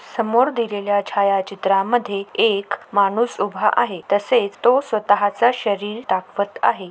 समोर दिलेल्या छायाचित्रामध्ये एक माणूस उभा आहे तसेच तो स्वताचे शरीर दाखवत आहे.